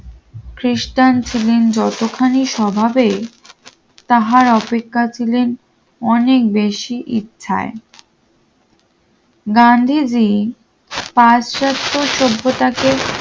খ্রিস্টান ছিলেন যতখানি স্বভাবেই তাহার অপেক্ষায় ছিলেন অনেক বেশি ইচ্ছায় গান্ধীজী পাশ্চাত্য সভ্যতাকে